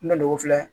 N' dogo filɛ